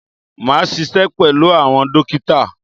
Máa ṣiṣẹ́ pẹ̀lú àwọn dókítà.